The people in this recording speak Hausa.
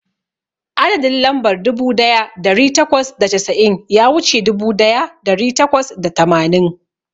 Adadin lambar dubu daya dari takwas da casa'in ya wuce dubu daya dari takwas da tamanin.